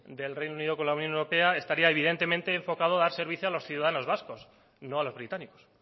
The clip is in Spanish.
del reino unido con la unión europea estaría evidente enfocado a dar servicio a los ciudadanos vascos no a los británicos